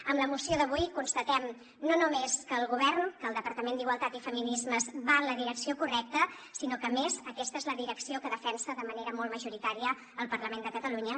amb la moció d’avui constatem no només que el govern que el departament d’igualtat i feminismes va en la direcció correcta sinó que a més aquesta és la direcció que defensa de manera molt majoritària el parlament de catalunya